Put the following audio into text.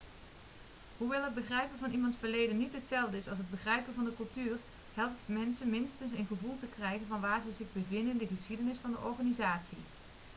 hoewel het begrijpen van iemands verleden niet hetzelfde is als het begrijpen van de cultuur helpt het mensen minstens een gevoel te krijgen van waar ze zich bevinden in de geschiedenis van de organisatie